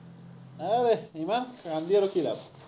আৰে, ইমান কান্দি আৰু কি লাভ।